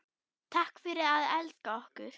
Takk fyrir að elska okkur.